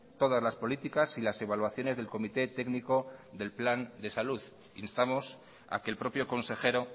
todas las políticas y las evaluaciones del comité técnico del plan de salud instamos a que el propio consejero